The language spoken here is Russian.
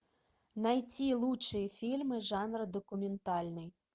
найти лучшие фильмы жанра документальный